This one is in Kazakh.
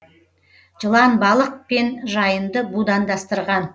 жылан балық пен жайынды будандастырған